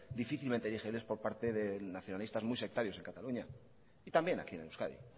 difícilmente digeribles por parte de nacionalistas muy sectarios en cataluña y también aquí en euskadi